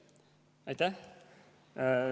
Aitäh!